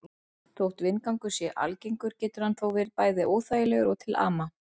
Þótt vindgangur sé algengur getur hann verið bæði óþægilegur og til ama.